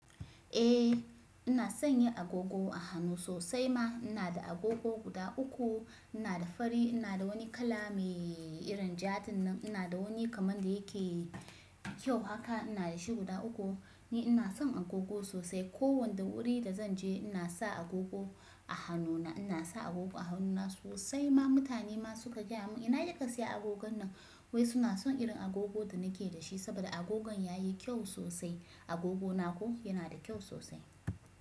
Eh ina son yi agogo a hannu sosai ma. Ina da agogo guda uku. Ina da fari, ina da wani kala mai irin jaɗin nan, ina da wani kaman da yake kyau haka. Ina da shi guda uku. Ni ina son agogo sosai. Ko wanda wuri da zan je ina sa agogo a hannuna. Ina sa agogo a hannuna sosai ma. Mutane ma su ka gaya mun ina kija sayi agogon nan? Wai suna son irin agogo da nake da shi saboda agogon ya yi kyau sosai. Agogona ko yana da kyau sosai.